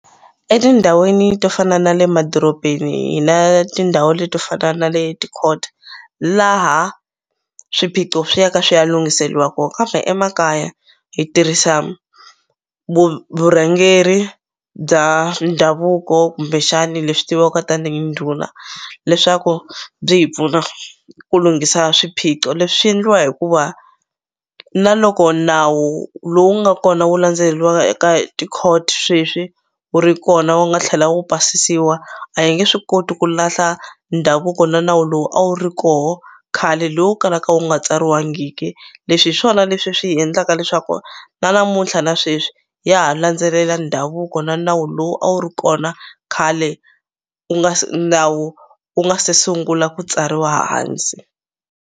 Etindhawini to fana na le madorobeni hi na tindhawu le to fana na le ti-court laha swiphiqo swi ya ka swi ya lunghiseliwa kona kambe emakaya hi tirhisa vurhangeri bya ndhavuko kumbexani leswi tiviwaka tanihi ndhuna leswaku byi hi pfuna ku lunghisa swiphiqo leswi swi endliwa hikuva na loko nawu lowu nga kona wu landzeleliwaka eka hi ti-court sweswi wu ri kona wu nga tlhela wu basisiwa a hi nge swi koti ku lahla ndhavuko na nawu lowu a wu ri koho khale lowu kalaka wu nga tsariwangiki leswi hi swona leswi swi hi endlaka leswaku na namuntlha na sweswi ya ha landzelela ndhavuko na nawu lowu a wu ri kona khale u nga se nawu u nga se sungula ku tsariwa hansi.